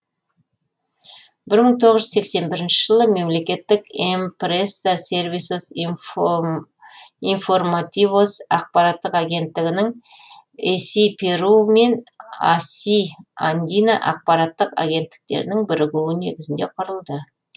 бір мың тоғыз жүз сексен бірінші жылы мемлекеттік эмпреса сервисос информативос ақпараттық агенттігінің эси перу мен аси андина ақпараттық агенттіктерінің бірігуі негізінде құрылды